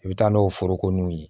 I bɛ taa n'o foroko nunnu ye